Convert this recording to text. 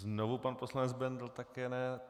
Znovu pan poslanec Bendl, také ne.